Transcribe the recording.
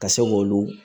Ka se k'olu